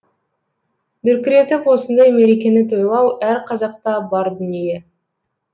дүркіретіп осындай мерекені тойлау әр қазақта бар дүние